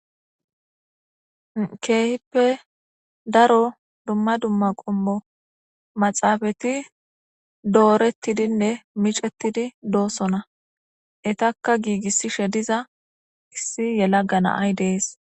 Keehippe daro dumma dumma qommo maxaafati doorettidinne micettidi doosona etakka giigissishe diza issi yela gana ay dees.